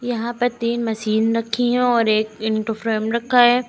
यहां पर तीन मशीन रखी हैं और एक इन्टोफ्रेम रखा है।